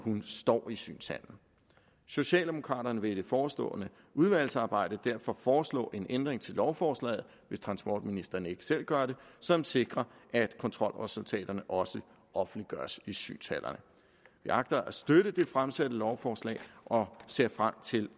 man står i synshallen socialdemokraterne vil i det forestående udvalgsarbejde derfor foreslå en ændring til lovforslaget hvis transportministeren ikke selv gør det som sikrer at kontrolresultaterne også offentliggøres i synshallerne vi agter at støtte det fremsatte lovforslag og ser frem til